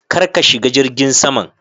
Kar ka shiga jirgin saman.